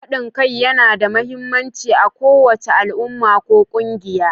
Haɗin kai yana da mahimmanci a kowace al'umma ko ƙungiya.